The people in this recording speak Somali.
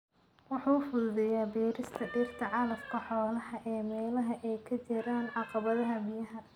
Wuxuu fududeeyaa beerista dhirta calafka xoolaha ee meelaha ay ka jiraan caqabadaha biyaha.